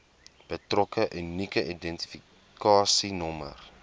betrokke unieke identifikasienommer